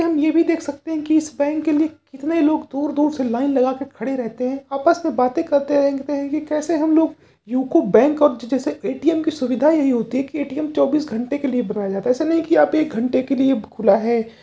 इसमें हम ये भी देख सकते हैं कि इस बैंक के लिए कितने लोग दूर-दूर से लाइन लगाके खड़े रहते हैं। आपस से बात करते रहते हैं कि कैसे हम लोग यूको बैंक और जैसे ए.टी.एम. की सुविधा यही होती है कि ए.टी.एम. चौबीस घंटे के लिए खुला रह जाता है ऐसा नहीं है कि एक घंटे के लिए खुला है।